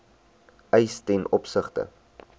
eis ten opsigte